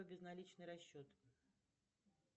безналичный расчет